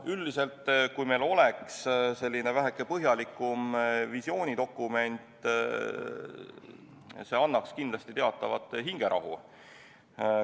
Üldiselt öeldes, kui meil oleks väheke põhjalikum visioonidokument, siis see annaks kindlasti teatavat hingerahu.